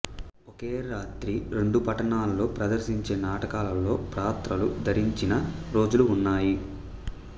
ఒకే రాత్రి రెండు పట్టణాలలో ప్రదర్శించే నాటకాలలో పాత్రలు ధరించిన రోజులు ఉన్నాయి